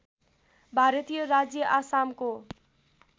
भारतीय राज्य आसामको